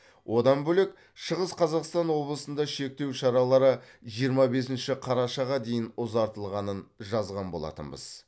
одан бөлек шығыс қазақстан облысында шектеу шаралары жиырма бесінші қарашаға дейін ұзартылғанын жазған болатынбыз